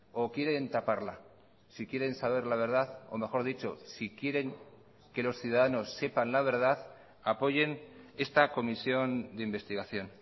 o quieren taparla si quieren saber la verdad o mejor dicho si quieren que los ciudadanos sepan la verdad apoyen esta comisión de investigación